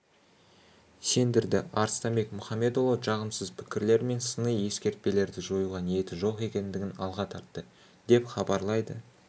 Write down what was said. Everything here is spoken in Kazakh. сендірді арыстанбек мұхамедиұлы жағымсыз пікірлер мен сыни-ескертпелерді жоюға ниеті жоқ екендігін алға тартты деп хабарлайды